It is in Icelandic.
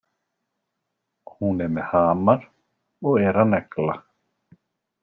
Hún er með hamar og er að negla.